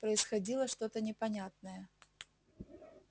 происходило что то непонятное